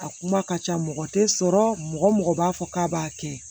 A kuma ka ca mɔgɔ tɛ sɔrɔ mɔgɔ mɔgɔ b'a fɔ k'a b'a kɛ